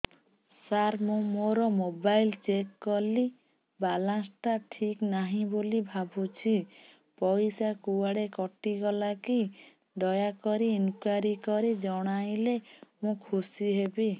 ସାର ମୁଁ ମୋର mobile check କଲି ବାଲାନ୍ସ ଟା ଠିକ ନାହିଁ ବୋଲି ଭାବୁଛି ପଇସା କୁଆଡେ କଟି ଗଲା କି ଦୟାକରି ଇନକ୍ୱାରି କରି ଜଣାଇଲେ ମୁଁ ଖୁସି ହେବି